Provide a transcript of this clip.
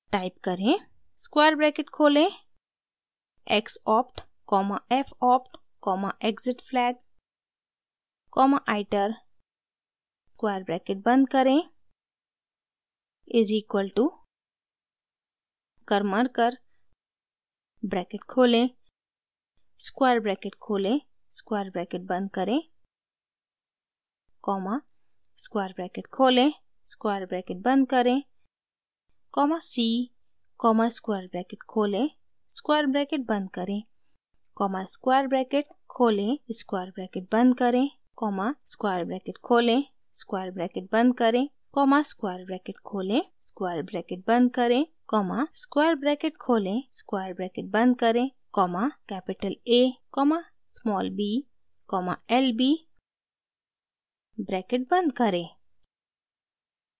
type करें: square bracket खोलें x opt comma f opt comma exitflag comma iter square bracket बंद करें is equals to karmarkar bracket खोलें square bracket खोलें square bracket बंद करें कॉमा स्क्वायर ब्रैकेट खोलें स्क्वायर ब्रैकेट बंद करें comma c comma square bracket खोलें स्क्वायर ब्रैकेट बंद करें कॉमा स्क्वायर ब्रैकेट खोलें स्क्वायर ब्रैकेट बंद करें कॉमा स्क्वायर ब्रैकेट खोलें स्क्वायर ब्रैकेट बंद करें कॉमा स्क्वायर ब्रैकेट खोलें स्क्वायर ब्रैकेट बंद करें कॉमा स्क्वायर ब्रैकेट खोलें स्क्वायर ब्रैकेट बंद करें comma capital a comma small b comma lb bracket बंद करें